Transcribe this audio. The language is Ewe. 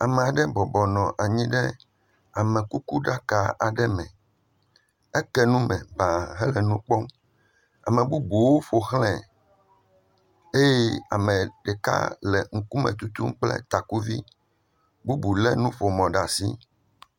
Am'ɖe bɔbɔnɔ anyi ɖe amekukuɖaka aɖe me, eke nu me baa hele nu kpɔ, amebubuwo ƒoxlɛ eye ame ɖeka le ŋkume tutum kple takuvi bubu le nuƒomɔ ɖe asi.